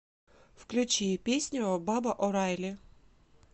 включи песню баба орайли